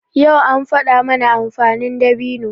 Yau an faɗa mana amfanin dabino.